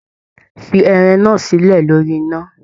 Fí ẹran náà silẹ lórí iná!